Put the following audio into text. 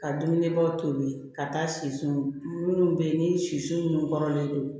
Ka dumunibaw tobi ka taa sisi munnu be yen ni siso minnu don